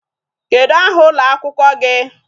Kedụ aha ụlọ akwụkwọ gị?